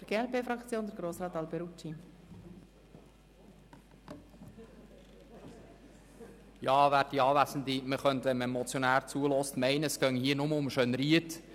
Wenn man dem Motionär zuhört, könnte man meinen, es gehe hier nur um Schönried.